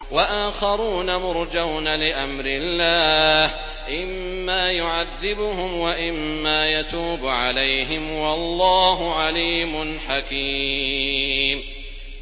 وَآخَرُونَ مُرْجَوْنَ لِأَمْرِ اللَّهِ إِمَّا يُعَذِّبُهُمْ وَإِمَّا يَتُوبُ عَلَيْهِمْ ۗ وَاللَّهُ عَلِيمٌ حَكِيمٌ